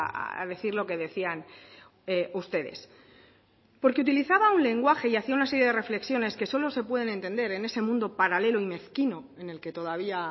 a decir lo que decían ustedes porque utilizaba un lenguaje y hacía una serie de reflexiones que solo se pueden entender en ese mundo paralelo y mezquino en el que todavía